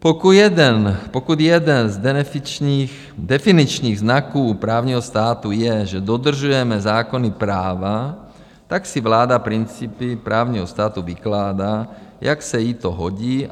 Pokud jeden z definičních znaků právního státu je, že dodržujeme zákonná práva, tak si vláda principy právního státu vykládá, jak se jí to hodí.